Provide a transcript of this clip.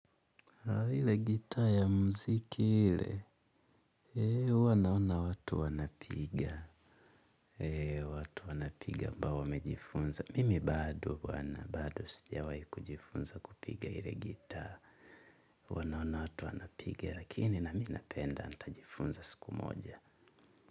Ile gitaa ya muziki ile, huwa naona watu wanapiga. Watu wanapiga ambao wamejifunza. Mimi bado bwana bado sijawahi kujifunza kupiga ile gitaa. Huwa naona watu wanapiga lakini na mimi napenda nitajifunza siku moja.